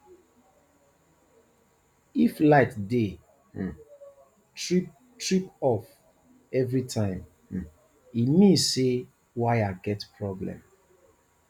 if light dey um trip trip off every time um e mean say wire get problem